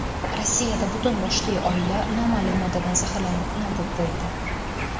Rossiyada butun boshli oila noma’lum moddadan zaharlanib nobud bo‘ldi.